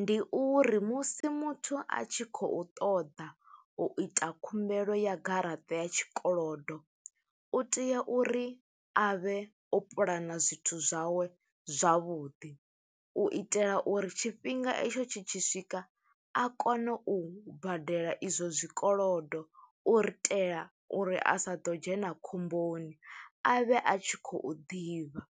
Ndi uri musi muthu a tshi khou ṱoḓa u ita khumbelo ya garaṱa ya tshikolodo, u tea uri a vhe o puḽana zwithu zwawe zwavhuḓi. U itela uri tshifhinga i tsho tshi tshi swika, a kone u badela i zwo zwikolodo. U ri itela uri a sa ḓo dzhena khomboni, a vhe a tshi khou ḓivha